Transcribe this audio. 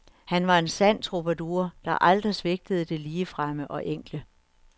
Han var en sand troubadour, der aldrig svigtede det ligefremme og enkle.